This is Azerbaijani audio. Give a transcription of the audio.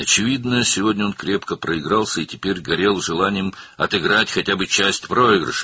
Aydındır ki, bu gün o, bərk uduzmuşdu və indi uduzduqlarının heç olmasa bir hissəsini geri qaytarmaq istəyi ilə alışıb-yanırdı.